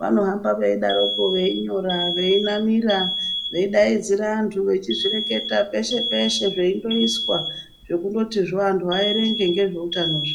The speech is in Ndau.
vano hamba vei daroko vei nyora vei namira vei daidzira antu echi zvireketa peshe peshe zveindo iswa zvo kundoti zvo antu aerenge ngezve utano zvo.